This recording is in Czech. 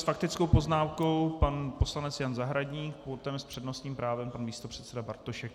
S faktickou poznámkou pan poslanec Jan Zahradník, potom s přednostním právem pan místopředseda Bartošek.